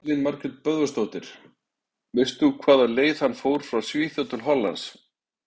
Elín Margrét Böðvarsdóttir: Veistu hvaða leið hann fór frá Svíþjóð til Hollands?